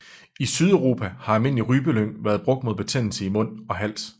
I Sydeuropa har almindelig rypelyng været brugt mod betændelse i mund og hals